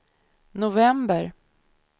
november